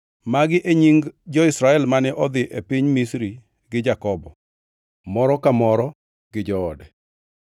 Magi e nying jo-Israel mane odhi e piny Misri gi Jakobo, moro ka moro gi joode: